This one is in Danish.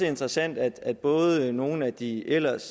interessant at både nogle af de ellers